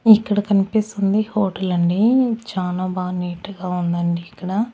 ఇక్కడ కనిపిస్తుంది హోటల్ అండి చాలా బాగా నీట్గా ఉందండి ఇక్కడ.